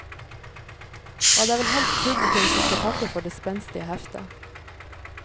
Og det er vel helst publikum som skal takke for det spenstige heftet.